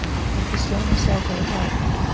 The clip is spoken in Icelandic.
Ekki sjón að sjá þá í dag.